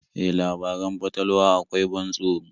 E, labaran fatalwa akwai ban tsoro.